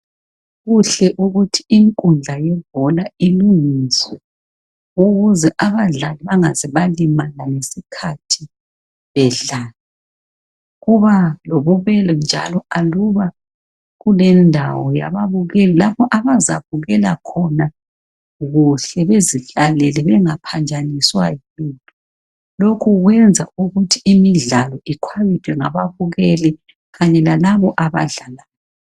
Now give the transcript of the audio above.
Kuhle ukuthi inkundla yebhola ilungiswe ukuze abadlali bangalimali ngesikhathi bedlala. Kuba lobubelo njalo aluba kulendawo ababukeli abazabukela khona kuhle bengaphanjaniswa yilutho. Lokhu kwenza ukuthi imidlalo ikhwabithwe ngababukeli lalabo abadlalayo.